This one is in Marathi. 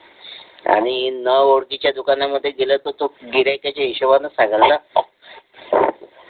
आणि न ओळखीच्या दुकानांमध्ये केलं तर तो गिऱ्हाईकाच्या हिशोबानेच सांगेल ना